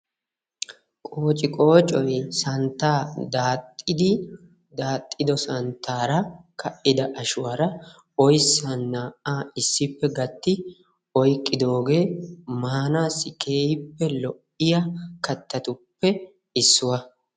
Qoocciqqooccoy santtaa daaxxidi daaxxiddo santtaara ka"ida ashuwaara oyssan naa"aa issippe gatti oyqqiddogee maanaassi keehippe lo'iya kattatuppe issuwa.